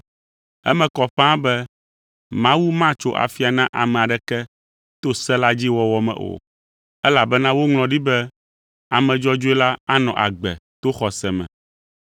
Eme kɔ ƒãa be Mawu matso afia na ame aɖeke to se la dzi wɔwɔ me o, elabena woŋlɔ ɖi be, “Ame dzɔdzɔe la anɔ agbe to xɔse me.”